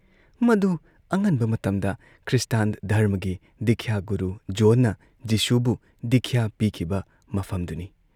ꯃꯗꯨ ꯑꯉꯟꯕ ꯃꯇꯝꯗ ꯈ꯭ꯔꯤꯁꯇ ꯙꯔꯝꯃꯒꯤ ꯗꯤꯈ꯭ꯌꯥ ꯒꯨꯔꯨ ꯖꯣꯟꯅ ꯖꯤꯁꯨꯕꯨ ꯗꯤꯈ꯭ꯌꯥ ꯄꯤꯈꯤꯕ ꯃꯐꯝꯗꯨꯅꯤ ꯫